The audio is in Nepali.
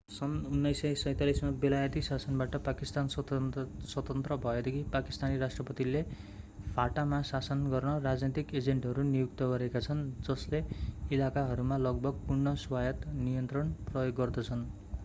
सन् 1947 मा बेलायती शासनबाट पाकिस्तान स्वतन्त्र भएदेखि पाकिस्तानी राष्ट्रपतिले fata मा शासन गर्न राजनीतिक एजेन्टहरू नियुक्त गरेका छन् जसले इलाकाहरूमा लगभग पूर्ण स्वायत्त नियन्त्रण प्रयोग गर्दछन्